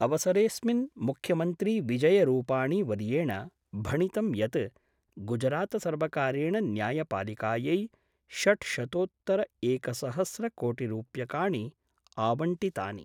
अवसरेस्मिन् मुख्यमंत्री विजयरूपाणीवर्येण भणितं यत् गुजरातसर्वकारेण न्यायपालिकायै षड्शतोत्तरएकसहस्रकोटिरूप्यकाणि आवण्टितानि।